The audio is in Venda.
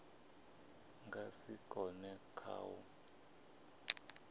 nga si kone kha u